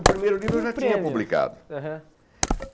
O primeiro livro eu já tinha publicado. aham